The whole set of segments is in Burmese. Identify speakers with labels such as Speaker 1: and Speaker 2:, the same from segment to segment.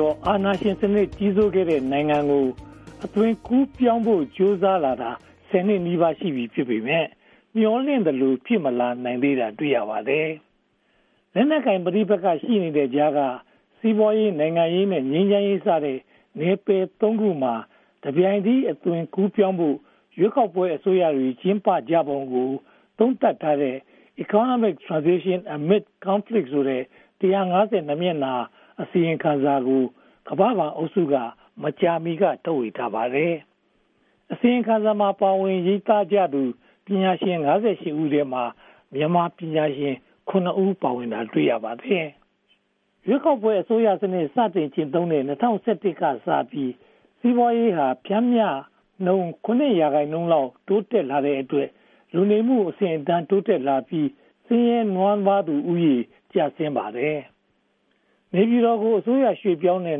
Speaker 1: ကျော်ကြာ အာဏာရှင်စနစ် ကြီးစိုးခဲ့တဲ့ နိုင်ငံကို အသွင်ကူးပြောင်းဖို့ ကြိုးပမ်းလာတာ (၁၀) နှစ်နီးပါး ရှိလာခဲ့ပြီဖြစ်ပေမယ့် မျှော်လင့်ထားသလို ဖြစ်မလာသေးတာကို တွေ့ရပါတယ်။ လက်နက်ကိုင်ပဋိပက္ခရှိနေတဲ့ကြားက စီးပွားရေး၊ နိုင်ငံရေးနဲ့ ငြိမ်းချမ်းရေးစတဲ့ နယ်ပယ် (၃) ခုမှာ တပြိုင်နက်တည်း အသွင်ပြောင်းဖို့ ရွေးကောက်ပွဲ အစိုးရတွေ ကြိုးပမ်းကြပုံကို သုံးသပ်ထားတဲ့ Economic Transition Amid Conflict ဆိုတဲ့ စာမျက်နှာ (၁၅၂) မျက်နှာ အစီရင်ခံစာကို ကမ္ဘာ့ဘဏ်အုပ်စုက မကြာမီက ထုတ်ဝေပါတယ်။ အစီရင်ခံစာမှာ ပါဝင်ရေးသားကြသူ ပညာရှင် (၅၈) ဦးထဲမှာ မြန်မာပညာရှင် (၇) ပါဝင်တာကို တွေ့ရပါတယ်။ ရွေးကောက်ပွဲအစိုးရစနစ် စတင်ကျင့်သုံးလာတဲ့ ၂၀၁၁ ကစပြီး စီးပွားရေးဟာ ပျမ်မျှနှုန်း (၇) ရာခိုင်နှုန်းလောက်နဲ့ တိုးတက်လာတဲ့အတွက် လူနေမှုအဆင့်အတန်း တိုးတက်လာပြီး၊ ဆင်းရဲနွမ်းပါးသူဦးရေ ကျဆင်းလာပါတယ်။ နေပြည်တော်ကို အစိုးရရွေ့ပြောင်းခဲ့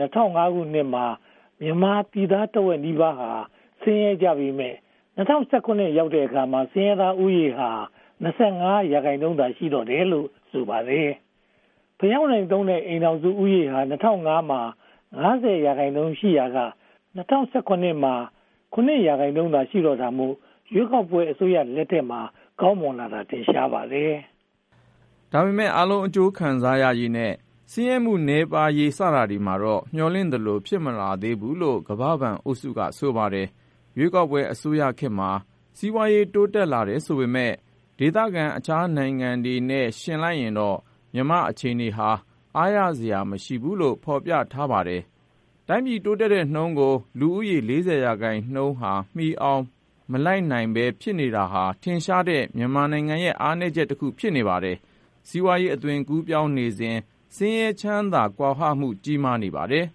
Speaker 1: တဲ့ (၂၀၀၅) ခုနှစ်မှာ မြန်မာပြည်သား တဝက်နီးပါးဟာ ဆင်းရဲကြပေမယ့် (၂၀၁၇) ရောက်တဲ့အခါမှာ ဆင်းရဲသားဦးရေဟာ (၂၀၀၅) မှာ (၅၀) ရာခိုင်နှုန်းရှိရာက (၂၀၁၇) မှာ (၇) ရာခိုင်နှုန်းသာ ရှိတော့တာမို့ ရွေးကောက်ပွဲအစိုးရလက်ထက်မှာ ကောင်းမွန်လာတာ ထင်ရှားပါတယ်။
Speaker 2: ဒါပေမဲ့ အားလုံးအကျိုးခံစားရရေးနဲ့ ဆင်းရဲမှုနည်းပါးရေး စတာတွေမှာတော့ မျှော်လင့်ထားသလို ဖြစ်မလာဘူးလို့ ကမ္ဘာ့ဘဏ်အုပ်စုက ဆိုပါတယ်။ ရွေးကောက်ပွဲအစိုးရခေတ်မှာ စီးပွားရေးတိုးတက်လာတယ်ဆိုပေမယ့် ဒေသအတွင်း အခြားနိုင်ငံတွေနဲ့ ယှဉ်ကြည့်လိုက်ရင်တော့ မြန်မာနိုင်ငံအခြေအနေဟာ အားရစရာမရှိဘူးလို့ ဖော်ပြထားပါတယ်။ တိုင်းပြည်တိုးတက်တဲ့နှုန်းကို လူဦးရေ (၄၀) ရာခိုင်နှုန်းက မီအောင်မလိုက်နိုင်ဘဲ ဖြစ်နေတာဟာ ထင်ရှားတဲ့ မြန်မာနိုင်ငံရဲ့ အားနည်းချက်တခု ဖြစ်ပါတယ်။ စီးပွားရေးအသွင်ကူးပြောင်းနေစဉ် ဆင်းရဲချမ်းသာကွာဟမှု ကြီးမားလာပါတယ်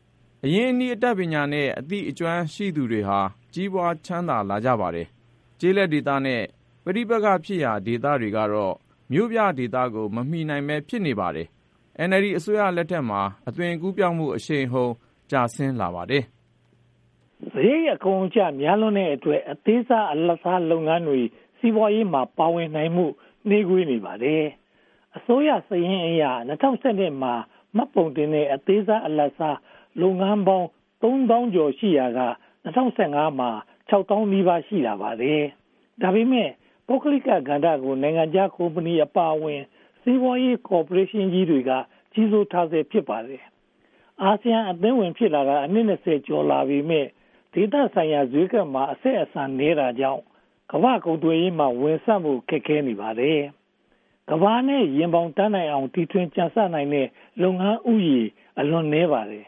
Speaker 2: ။ အရင်းအနှီး၊ အတတ်ပညာနဲ့ အသိအကျွမ်းရှိသူတွေဟာ ကြီးပွားချမ်းသာလာကြပါတယ်။ ကျေးလက်ဒေသနဲ့ ပဋိပက္ခဖြစ်ရာဒေသကတော့ မြို့ပြဒေသကို မမီနိုင်ဘဲဖြစ်နေပါတယ်။ NLD အစိုးရလက်ထက်မှာ အသွင်ကူးပြောင်းမှု အရှိန်အဟုန် ကျဆင်းလာပါတယ်။
Speaker 1: စရိတ်အကုန်အကျများလွန်တဲ့အတွက် အသေးစားနဲ့ အလတ်စားလုပ်ငန်းတွေ စီးပွားရေးမှာ ပါဝင်လာနိုင်မှု နှေးကွေးနေပါတယ်။ အစိုးရစာရင်းအရ (၂၀၁၂) မှာ မှတ်ပုံတင်ထားတဲ့ အသေးစား၊ အလတ်စား လုပ်ငန်းပေါင်း (၃၀၄၀၇) ရှိရာက (၂၀၁၅) မှာ (၅၈၈၇၈၉) ရှိလာပါတယ်။ ဒါပေမဲ့ ပုဂ္ဂလိကကဏ္ဍကို နိုင်ငံခြားကုမ္ပဏီအပါအဝင် စီးပွားရေးကော်ပိုရေးရှင်းတွေက ကြီးစိုးထားဆဲ ဖြစ်ပါတယ်။ အာဆီယံအသင်းဝင် ဖြစ်လာတာ အနှစ် (၂၀) ကျော်လာပေမယ့် ဒေသဆိုင်ရာဈေးကွက်နဲ့ အဆက်အဆံနည်းတာကြောင့် ကမ္ဘာ့ကုန်သွယ်ရေးမှာ ဝင်ဆံ့ဖို့ ခက်ခဲနေပါတယ်။ ကမ္ဘာနဲ့ ရင်ဘောင်တန်နိုင်အောင် ကြံဆနိုင်တဲ့ လုပ်ငန်းဦးရေ အလွန်နည်းပါတယ်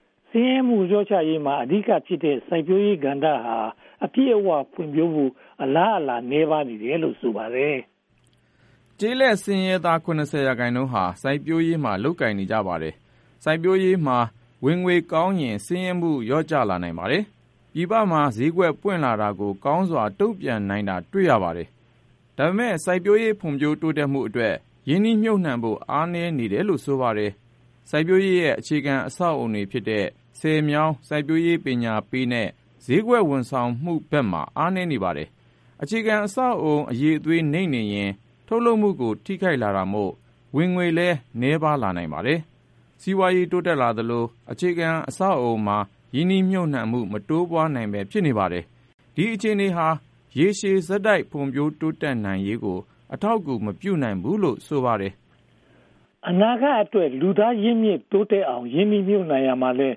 Speaker 1: ။ ဆင်းရဲမှုလျှော့ချရေးမှာ အဓိကဖြစ်တဲ့ စိုက်ပျိုးရေးကဏ္ဍဟာ အပြည့်အဝဖွံ့ဖြိုးဖို့ အလားအလာ နည်းပါးနေတယ်လို့ ဆိုပါတယ်။
Speaker 2: ကျေးလက်ဆင်းရဲသား (၇၀) ရာခိုင်နှုန်းဟာ စိုက်ပျိုးရေးမှာ လုပ်ကိုင်ကြပါတယ်။ စိုက်ပျိုးရေးမှာ ဝင်ငွေကောင်းရင် ဆင်းရဲမှု လျော့ကျလာနိုင်ပါတယ်။ ပြည်ပမှာ ဈေးကွက်ပွင့်လာတာကို ကောင်းစွာတုံ့ပြန်နိုင်တာ တွေ့ရပါတယ်။ ဒါပေမဲ့ စိုက်ပျိုးရေးဖွံ့ဖြိုးတိုးတက်မှုအတွက် ရင်းနှီးမြုပ်နံှဖို့ အားနည်းနေတယ်လို့ ဆိုပါတယ်။ စိုက်ပျိုးရေးရဲ့ အခြေခံအဆောက်အအုံတွေဖြစ်တဲ့ ဆည်မြောင်း၊ စိုက်ပျိုးရေးပညာပေးနဲ့ ဈေးကွက်ဝန်ဆောင်မှုဘက်မှာ အားနည်းနေပါတယ်။ အခြေခံအဆောက်အအုံ အရည်အသွေးနိမ့်နေရင် ထုတ်လုပ်မှုကို ထိခိုက်လာတာမို့ ဝင်ငွေလည်းနည်းပါးလာနိုင်ပါတယ်။ စီးပွားရေးတိုးတက်လာသလို အခြေခံအဆောက်အအုံမှာ ရင်းနှီးမြုပ်နံှမှု မတိုးပွားနိုင်ဘဲ ဖြစ်နေပါတယ်။ ဒီအခြေအနေဟာ ရေရှည်ဆက်တိုက် ဖွံ့ဖြိုးတိုးတက်နိုင်ရေးကို အထောက်အကူ မပြုနိုင်ဘူးလို့ ဆိုပါတယ်
Speaker 1: ။ အနာဂတ်အတွက် လူသားရင်းမြစ်တိုးတက်အောင် ရင်းနှီးမြုပ်နံှရာမှာလည်း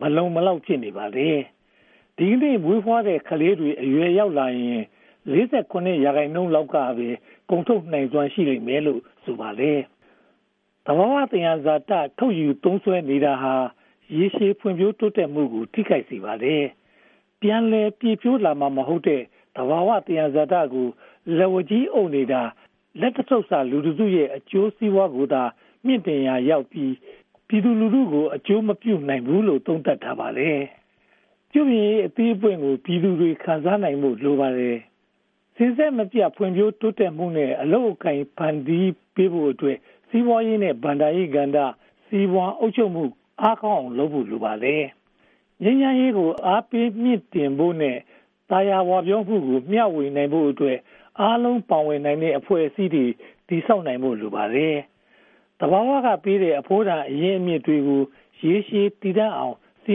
Speaker 1: မလုံမလောက် ဖြစ်နေပါတယ်။ ဒီကနေ့ မွေးဖွားတဲ့ကလေးတွေ အရွယ်ရောက်လာရင် (၄၇) ရာခိုင်နှုန်းလောက်ကပဲ ကုန်ထုတ်နိုင်စွမ်း ရှိလိမ့်မယ်လို့ ဆိုပါတယ်။ သဘာဝသယံဇာတ ထုတ်ယူသုံးစွဲနေတာဟာ ရေရှည်ဖွံ့ဖြိုးတိုးတက်မှုကို ထိခိုက်စေပါတယ်။ ပြန်လည်ပြည့်ဖြိုးလာမှာမဟုတ်တဲ့ သဘာဝသယံဇာတကို လက်ဝါးကြီးအုပ်နေတာဟာ လက်တစုပ်စာလူတစုရဲ့ အကျိုးစီးပွားကိုသာ မြှင့်တင်ရာရောက်ပြီး ပြည်သူလူထုကို အကျိုးမပြုဘူးလို့ သုံးသပ်ထားပါတယ်။ ပြုပြင်ရေးအသီးအပွင့်ကို ပြည်သူတွေခံစားနိုင်ဖို့ လိုပါတယ်။ စဉ်ဆက်မပြတ် ဖွံ့ဖြိုးတိုးတက်မှုနဲ့ အလုပ်အကိုင် ဖန်တီးပေးဖို့အတွက် စီးပွားရေးနဲ့ ဘဏ္ဍာရေးကဏ္ဍ စီမံအုပ်ချုပ်မှုကို အားကောင်းအောင်လုပ်ဖို့ လိုပါတယ်။ ငြိမ်းချမ်းရေးကို အားပေးမြှင့်တင်ဖို့နဲ့ သာယာဝပြောမှုကို မျှဝေပေးနိုင်ဖို့အတွက် အားလုံးပါဝင်နိုင်တဲ့ အဖွဲ့အစည်းတွေ တည်ဆောက်ဖို့ လိုပါတယ်။ သဘာဝကပေးတဲ့ အဖိုးတန်အရင်းအမြစ်တွေကို ရေရှည်တည်တန့်ခိုင်မြဲအောင် စီ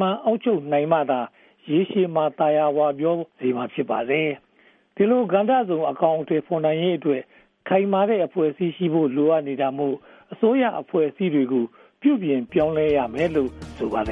Speaker 1: မံအုပ်ချုပ်နိုင်မှသာလျှင် ရေရှည်မှာ သာယာဝပြောမှာ ဖြစ်ပါတယ်။ ဒီလိုကဏ္ဍစုံကို အကောင်အထည်ဖော်နိုင်ရေးအတွက် ခိုင်မာတဲ့အဖွဲ့အစည်းရှိဖို့ လိုအပ်တာမို့ အစိုးရအဖွဲ့အစည်းကို ပြုပြင်ပြောင်းလဲရမယ်လို့ ဆိုပါတယ်